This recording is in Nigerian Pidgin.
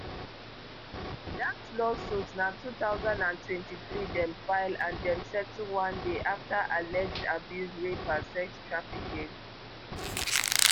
dat lawsuit na two thousand and twenty-three dem file and dem settle one day afta alleged abuse rape and sex trafficking